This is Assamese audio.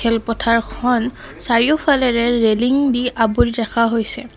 খেল পথাৰখন চাৰিওফালেৰে লেলিংদি আৱৰি ৰাখা হৈছে।